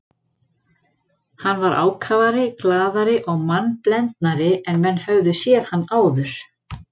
Hann var ákafari, glaðari og mannblendnari en menn höfðu séð hann áður.